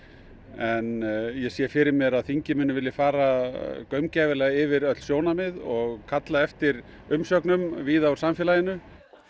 en ég sé fyrir mér að þingið vilji fara gaumgæfilega yfir öll sjónarmið og kalla eftir umsögnum víða úr samfélaginu